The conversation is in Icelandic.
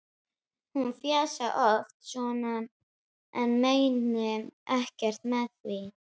Hún fjasi oft svona en meini ekkert með því.